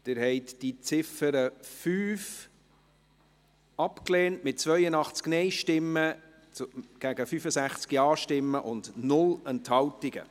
Sie haben die Ziffer 5 abgelehnt, mit 82 Nein- gegen 65 Ja-Stimmen bei 0 Enthaltungen.